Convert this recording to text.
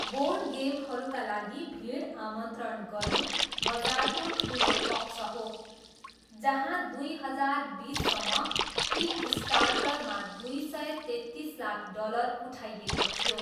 Board गेमहरूका लागि भिड आमन्त्रण गर्नु बजारको ठुलो पक्ष हो, जहाँ दुई हजार बिससम्म किकस्टार्टरमा दुई सय तेत्तिस लाख डलर उठाइएको थियो।